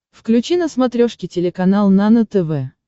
включи на смотрешке телеканал нано тв